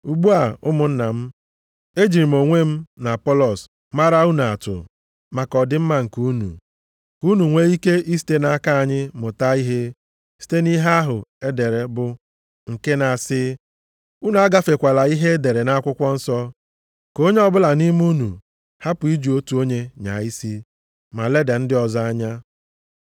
Ugbu a ụmụnna m ejiri m onwe m na Apọlọs mara unu atụ maka ọdịmma nke unu, ka unu nwee ike isite nʼaka anyị mụta ihe site nʼihe ahụ e dere bụ nke na-asị, “Unu agafekwala ihe e dere nʼakwụkwọ nsọ.” Ka onye ọbụla nʼime unu hapụ iji otu onye nyaa isi ma leda ndị ọzọ anya.